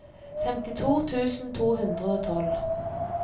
femtito tusen to hundre og tolv